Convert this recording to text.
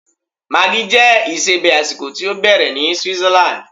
Maggi jẹ́ isebẹ̀ àsìkò tí ó bẹ̀rẹ̀ ní Switzerland.